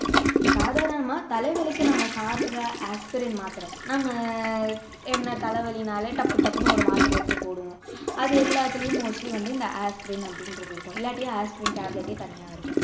சாதாரணமா தலைவலிக்கு நாம்ம சாப்பிடுற ஆஸ்பிரின் மாத்திரை நம்ம என்ன தலைவலின்னாலே டப்பு டப்புன்னு ஒரு மாத்திரை எடுத்து போடுவோம் அது எல்லாத்துலையும் mostly வந்து இந்த ஆஸ்பிரின் அப்படின்றது இருக்கும் இல்லாட்டி ஆஸ்பிரின் tablet ஏ தனியா இருக்கும்